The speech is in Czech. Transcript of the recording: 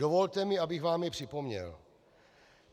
Dovolte mi, abych vám je připomněl.